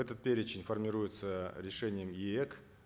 этот перечень формируется решением еэк